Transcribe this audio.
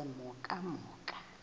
emhokamhokana